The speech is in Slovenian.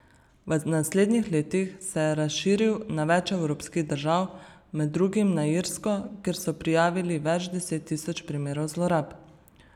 V naslednjih letih se je razširil na več evropskih držav, med drugim na Irsko, kjer so prijavili več deset tisoč primerov zlorab.